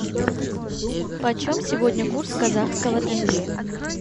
почем сегодня курс казахского тенге